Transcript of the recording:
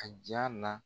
A ja na